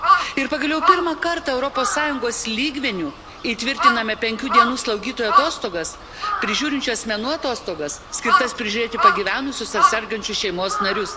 Ir pagaliau pirmą kartą Europos Sąjungos lygmeniu įtvirtiname penkių dienų slaugytojo atostogas, prižiūrinčių asmenų atostogas, skirtas prižiūrėti pagyvenusius ar sergančius šeimos narius.